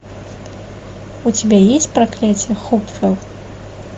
у тебя есть проклятие хопвелл